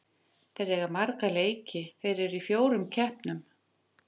Þeir eiga marga leiki, þeir eru í fjórum keppnum.